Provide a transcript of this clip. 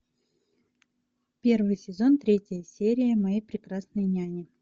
первый сезон третья серия моя прекрасная няня